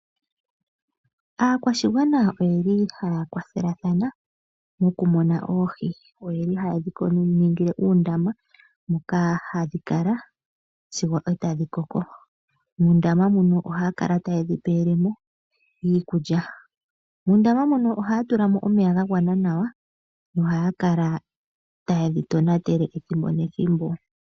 Aakwashigwana oyeli haya kwathelathana mokumuna oohi. Oyeli haye dhiningile uundama moka hadhi kala sigo e tadhi koko. Muundama muno ohaya kala ta yedhi pele mo iikulya. Muundama mono ohaya tula mo omeya gagwana nawa nohaya kala ta yedhi tonatele ethimbo nethimbo.